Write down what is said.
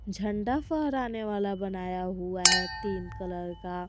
झंडा फहराने वाला बनाया हुआ है तीन कलर का।